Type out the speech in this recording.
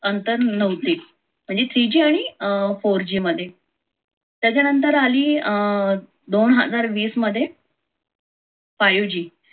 अंतर नव्हते म्हणजे three g आणि four g मध्ये त्याच्यानंतर आली दोन हजार वीस मध्य five g